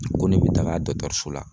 Ko ne be taga so la